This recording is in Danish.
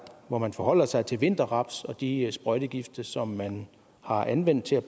hvor man forholder sig til vinterraps og de sprøjtegifte som man har anvendt til at